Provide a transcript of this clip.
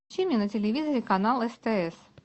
включи мне на телевизоре канал стс